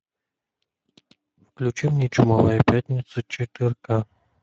включи мне чумовая пятница четыре ка